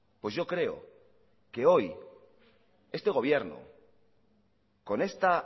pues yo creo que hoy este gobierno con esta